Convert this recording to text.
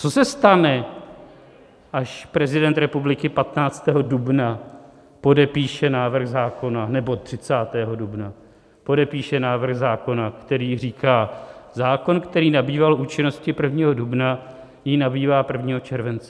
Co se stane, až prezident republiky 15. dubna podepíše návrh zákona, nebo 30. dubna podepíše návrh zákona, který říká: zákon, který nabýval účinnosti 1. dubna, jí nabývá 1. července?